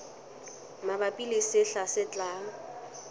mabapi le sehla se tlang